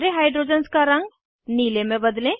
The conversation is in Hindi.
सारे हाइड्रोजन्स का रंग नीले में बदलें